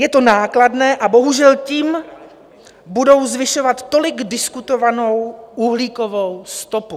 Je to nákladné a bohužel tím budou zvyšovat tolik diskutovanou uhlíkovou stopu.